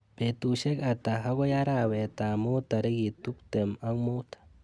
Betusyek ata akoi arawetap mut tarik tuptem ak mut.